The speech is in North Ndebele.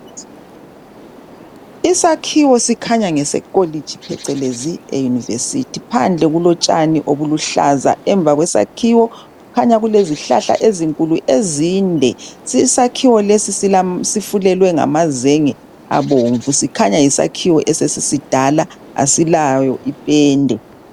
Isakhiwo sikhanya ngesekolitshi phecelezi e yunivesithi. Phandle kulotshani obuluhlaza, emva kwesakhiwo kukhanya kulezihlahla ezinkulu ezinde. Isakhiwo lesi sifulelwe ngamazenge abomvu, sikhanya yisakhiwo esesisidala, asilayo ipenda.